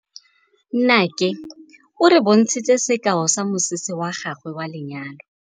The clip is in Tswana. Nnake o re bontshitse sekaô sa mosese wa gagwe wa lenyalo.